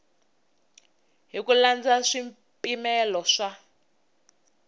hi ku landza swipimelo swa